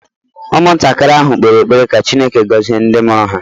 Ụmụntakịrị ahụ kpere ekpere ka Chineke gọzie ndị mụrụ ha